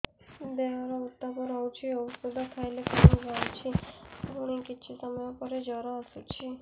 ଦେହର ଉତ୍ତାପ ରହୁଛି ଔଷଧ ଖାଇଲେ କମିଯାଉଛି ପୁଣି କିଛି ସମୟ ପରେ ଜ୍ୱର ଆସୁଛି